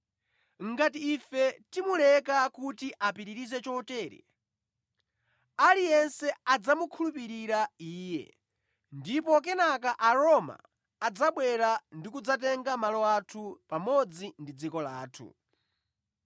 Ngati ife timuleka kuti apitirize chotere, aliyense adzamukhulupirira Iye, ndipo kenaka Aroma adzabwera ndi kudzatenga malo athu pamodzi ndi dziko lathu.”